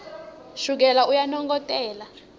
shukela uyanongotela